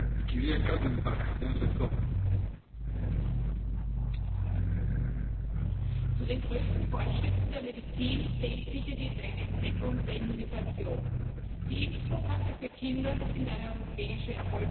Herr Präsident! Zu den größten Fortschritten der Medizin zählt sicher die Entdeckung der Immunisation. Die Impfprogramme für Kinder sind eine europäische Erfolgsgeschichte.